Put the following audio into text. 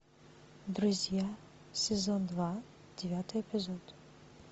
друзья сезон два девятый эпизод